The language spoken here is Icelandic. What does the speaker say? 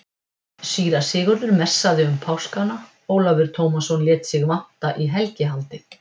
Síra Sigurður messaði um páskana, Ólafur Tómasson lét sig vanta í helgihaldið.